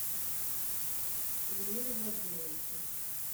ильмиру владимировичу